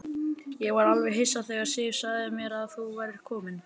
Ég var alveg hissa þegar Sif sagði mér að þú værir kominn.